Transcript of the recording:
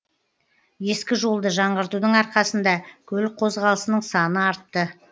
ескі жолды жаңғыртудың арқасында көлік қозғалысының саны артты